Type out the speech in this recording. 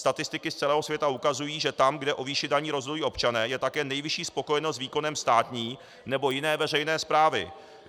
Statistiky z celého světa ukazují, že tam, kde o výši daní rozhodují občané, je také nejvyšší spokojenost s výkonem státní nebo jiné veřejné správy.